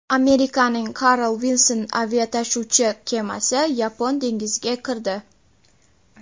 Amerikaning Carl Vinson aviatashuvchi kemasi Yapon dengiziga kirdi.